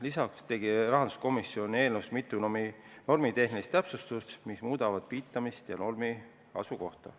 Lisaks tegi rahanduskomisjon eelnõus mitu normitehnilist täpsustust, mis puudutavad viitamist ja normi asukohta.